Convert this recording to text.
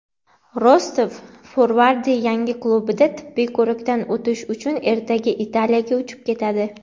"Rostov" forvardi yangi klubida tibbiy ko‘rikdan o‘tish uchun ertaga Italiyaga uchib ketadi.